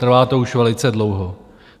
Trvá to už velice dlouho.